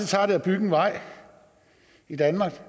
tager det at bygge en vej i danmark